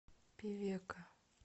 певека